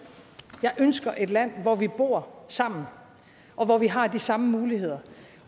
jeg ønsker et land hvor vi bor sammen og hvor vi har de samme muligheder